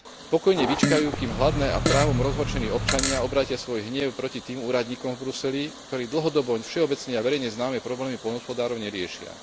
Pokojne vyčkajú, kým hladní a právom rozhorčení občania obrátia svoj hnev proti tým úradníkom v Bruseli, ktorí dlhodobo všeobecne a verejne známe problémy poľnohospodárov neriešia.